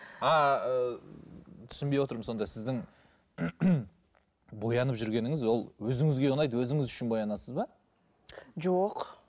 а ы түсінбей отырмын сонда сіздің боянып жүргеніңіз ол өзіңізге ұнайды өзіңіз үшін боянасыз ба жоқ